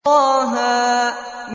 طه